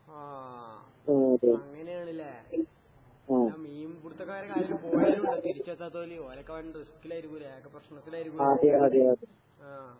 ആഹ് അങ്ങനെയാണല്ലേ ഞാൻ മീൻപിടുത്തക്കാടെ കാര്യം തിരിച്ചെത്താത്തോല്, ഓലൊക്കെ വൻ റിസ്ക്കിലേരിക്കൂലേ? ആകെ പ്രശ്നത്തിലേരിക്കൂലേ ആഹ്.